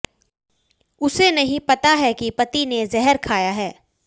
उसे नहीं पता है कि पति ने जहर खाया है